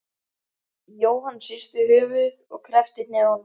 Jóhann hristi höfuðið og kreppti hnefana.